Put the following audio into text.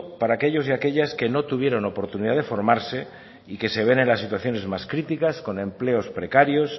para aquellos y aquellas que no tuvieron oportunidad de formarse y que se ven en las situaciones más críticas con empleos precarios